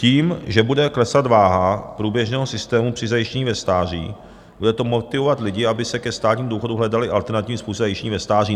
Tím, že bude klesat váha průběžného systému při zajištění ve stáří, bude to motivovat lidi, aby si ke státnímu důchodu hledali alternativní způsoby zajištění ve stáří.